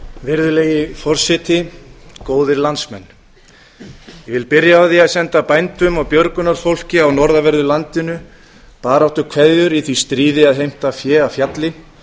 virðulegi forseti góðir landsmenn ég vil byrja á því að senda bændum og björgunarfólki á norðanverðu landinu baráttukveðjur í því stríði að heimta fé af fjalli